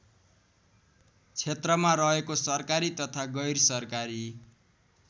क्षेत्रमा रहेको सरकारी तथा गैरसरकारी